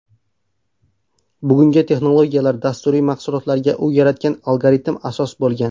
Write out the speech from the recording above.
Bugungi texnologiyalar, dasturiy mahsulotlarga u yaratgan algoritm asos bo‘lgan.